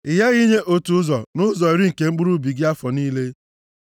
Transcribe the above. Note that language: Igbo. Ị ghaghị inye otu ụzọ nʼụzọ iri nke mkpụrụ ubi gị afọ niile.